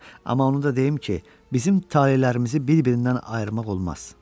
Amma onu da deyim ki, bizim talelərimizi bir-birindən ayırmaq olmaz.